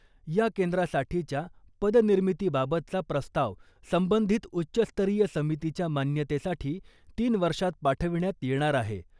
या केंद्रासाठीच्या पदनिर्मितीबाबतचा प्रस्ताव संबंधित उच्चस्तरीय समितीच्या मान्यतेसाठी तीन वर्षात पाठविण्यात येणार आहे.